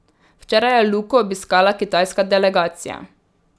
Včeraj je Luko obiskala kitajska delegacija.